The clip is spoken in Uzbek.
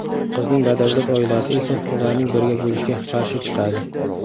Qizning badavlat oilasi esa ularning birga bo‘lishiga qarshi chiqadi.